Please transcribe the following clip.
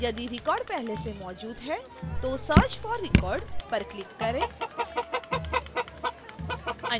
यदि record पहले से मौजूद है तो search for record पर click करें